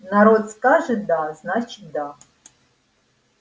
народ скажет да значит да